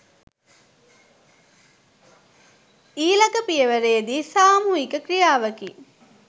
ඊළඟ පියවරේදී සාමූහික ‍ක්‍රියාවකි.